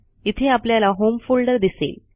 इथे आपल्याला home folder दिसेल